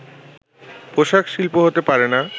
পোশাক শিল্প হতে পারে না